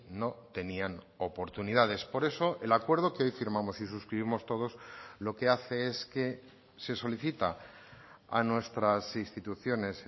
no tenían oportunidades por eso el acuerdo que hoy firmamos y suscribimos todos lo que hace es que se solicita a nuestras instituciones